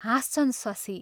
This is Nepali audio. हाँस्छन् शशी.....